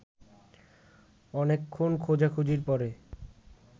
অনেকক্ষণ খোঁজাখুঁজির পরে